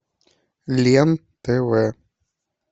лен тв